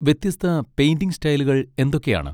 വ്യത്യസ്ത പെയിന്റിങ് സ്റ്റൈലുകൾ എന്തൊക്കെയാണ്?